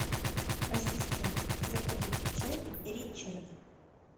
ассистент закажите чай ричард